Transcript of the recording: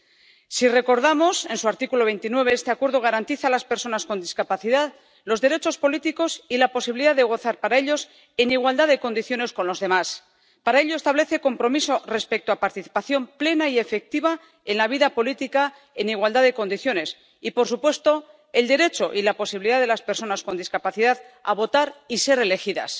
Cabe recordar que, en su artículo 29, la Convención garantiza a las personas con discapacidad los derechos políticos y la posibilidad de gozar de ellos en igualdad de condiciones con los demás. Para ello, establece compromisos respecto a la participación plena y efectiva en la vida política en igualdad de condiciones y, por supuesto, el derecho y la posibilidad de las personas con discapacidad a votar y ser elegidas.